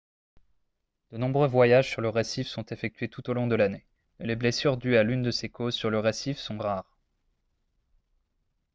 de nombreux voyages sur le récif sont effectués tout au long de l'année et les blessures dues à l'une de ces causes sur le récif sont rares